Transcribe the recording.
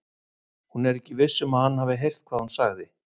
Hún er ekki viss um að hann hafi heyrt hvað hún sagði.